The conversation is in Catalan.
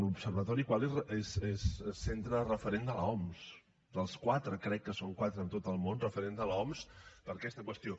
l’observatori qualy és centre referent de l’oms dels quatre crec que en són quatre en tot el món referents de l’oms per a aquesta qüestió